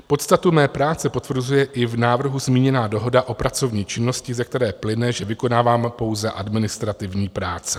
Podstatu mé práce potvrzuje i v návrhu zmíněná dohoda o pracovní činnosti, ze které plyne, že vykonávám pouze administrativní práce.